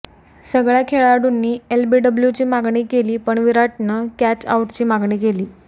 सगळ्या खेळाडूंनी एलबीडब्लूची मागणी केली पण विराटने कॅच आऊटची मागणी केली